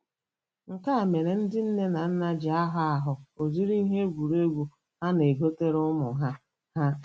Nke a mere ndị nne na nna ji ahọ ahọ ụdịrị ihe egwuregwu ha na-egotere ụmụ ha. ha.